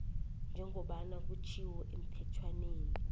njengoba kutjhiwo emthetjhwaneni